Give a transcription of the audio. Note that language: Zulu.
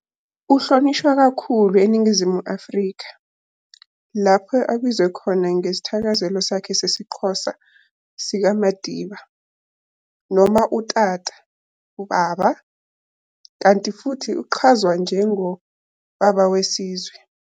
Uhlonishwa kakhulu eNingizimu Afrika, lapho abizwa khona ngesithakazelo sakhe sesiXhosa sikaMadiba, noma uTata, "Ubaba", kanti futhi uchazwa njengo"Baba Wesizwe".